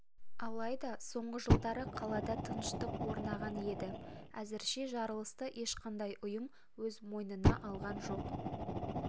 алайда соңғы жылдары қалада тыныштық орнаған еді әзірше жарылысты ешқандай ұйым өз мойнына алған жоқ